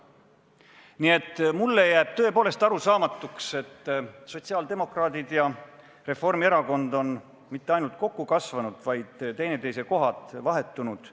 Nii et mulle jääb tõepoolest arusaamatuks, et sotsiaaldemokraadid ja Reformierakond pole mitte ainult kokku kasvanud, vaid teineteisega lausa kohad vahetanud.